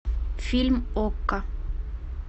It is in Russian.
фильм окко